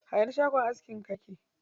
A ina shagon askin ka yake?